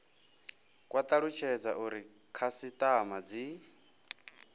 kwa talutshedza uri khasitama dzi